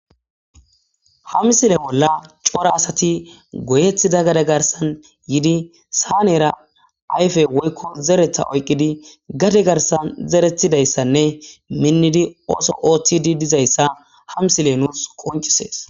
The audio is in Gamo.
ha misile bolla cora asati goyethida gade garsan yidi saaneera ayfe woykko zeretha oyqqidi gade garsan zeretidayssanne minnidi ooso ooththidi dizayssa ha misiley nuus qoncisees